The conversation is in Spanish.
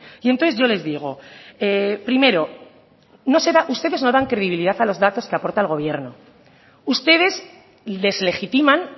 y entonces yo les digo primero ustedes no dan credibilidad a los datos que aporta el gobierno ustedes deslegitiman